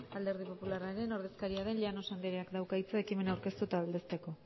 alderdi popularraren ordezkaria den llanos andreak dauka hitza ekimena aurkeztu eta aldezteko